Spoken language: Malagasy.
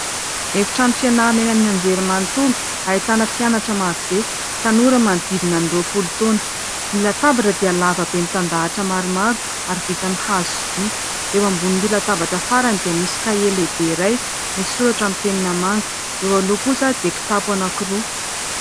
Efitrano fianarana eny amin'ny Anjery manontolo ahitana mpianatra marobe; tanora manodidina ny roapolo taona. Ny latabatra dia lavabe, mitandahatra maromaro ary vita amin'ny hazo sy vy; eo ambonin'ny latabatra farany dia misy kahie lehibe iray, misy soratra sy penina manga; eo aloha kosa dia kitapo anankiroa.